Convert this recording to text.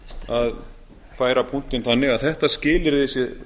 að færa punktinn þannig að þetta skilyrði sé